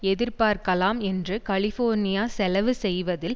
எதிர்பார்க்கலாம் என்று கலிஃபோர்னியா செலவு செய்வதில்